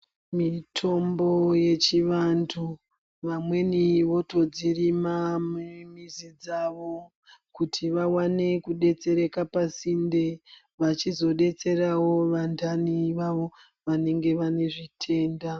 Mitombo yechivantu vamweni votodzirima mumizi dzawo kuti vakwanise kudetsereka pasinde vachizodetserawo vandani vavo vanenge vane zvitenda.